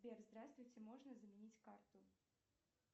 сбер здравствуйте можно заменить карту